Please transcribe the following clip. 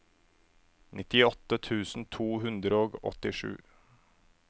nittiåtte tusen to hundre og åttisju